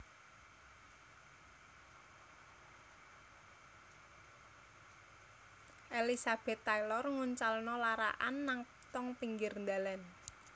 Elizabeth Taylor nguncalno larak an nang tong pinggir dalan